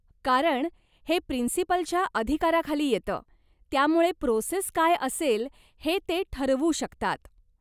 कारण हे प्रिन्सिपलच्या अधिकाराखाली येतं त्यामुळे प्रोसेस काय असेल हे ते ठरवू शकतात.